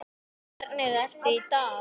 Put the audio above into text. Hvernig ertu í dag?